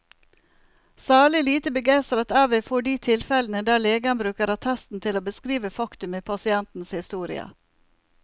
Særlig lite begeistret er vi for de tilfellene der legen bruker attesten til å beskrive faktum i pasientens historie.